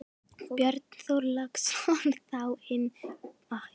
Björn Þorláksson: Þá innan barnaverndarnefnda?